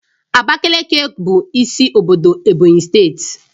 Abakaliki bụ isi obodo Ebonyi steeti